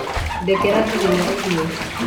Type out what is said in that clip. Ndekera ndirĩ na irio